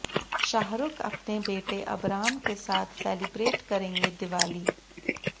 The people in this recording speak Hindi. शाहरुख अपने बेटे अबराम के साथ सेलिब्रेट करेंगे दिवाली